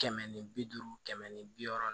Kɛmɛ ni bi duuru kɛmɛ ni bi wɔɔrɔ